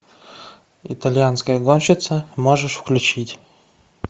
итальянская гонщица можешь включить